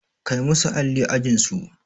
Kai musu alli ajin su!